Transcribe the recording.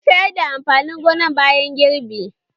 Mun sayar da amfanin gonan bayan girbi